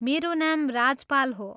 मेरो नाम राजपाल हो।